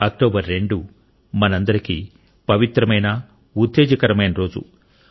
October 2 మనందరికీ పవిత్రమైన ఉత్తేజకరమైన రోజు